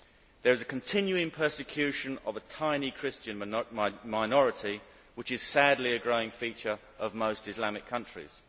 There is continuing persecution of a tiny Christian minority, which is sadly a growing feature of most Islamic countries.